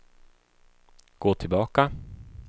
gå tillbaka